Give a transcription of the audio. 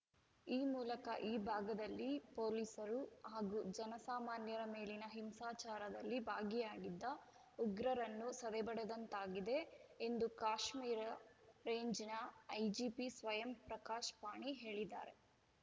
ಈ ಮೂಲಕ ಈ ಭಾಗದಲ್ಲಿ ಪೊಲೀಸರು ಹಾಗೂ ಜನ ಸಾಮಾನ್ಯರ ಮೇಲಿನ ಹಿಂಸಾಚಾರದಲ್ಲಿ ಭಾಗಿಯಾಗಿದ್ದ ಉಗ್ರರನ್ನು ಸದೆಬಡಿದಂತಾಗಿದೆ ಎಂದು ಕಾಶ್ಮೀರ ರೇಂಜ್‌ನ ಐಜಿಪಿ ಸ್ವಯಂ ಪ್ರಕಾಶ್‌ ಪಾಣಿ ಹೇಳಿದ್ದಾರೆ